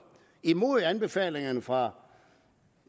imod anbefalingerne fra